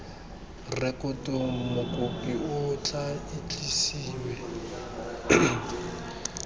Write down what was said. rekotong mokopi o tla itsisiwe